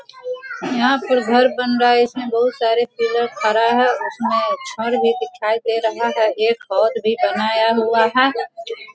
यहाँ पे घर बन रहा है | इसमें बहोत सारे पिलर खरा है | उसमें छड़ भी दिखाई दे रहा है एक हॉल भी बनाया हुआ है |